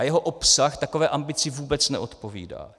A jeho obsah takové ambici vůbec neodpovídá.